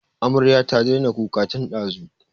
Amaryar ta daina kuka tin ɗazu